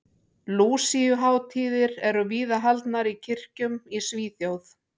Lúsíuhátíðir eru víða haldnar í kirkjum í Svíþjóð.